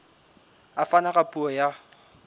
a fana ka puo ya